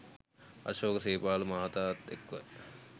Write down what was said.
අශෝක සේපාල මහතාත් එක්ව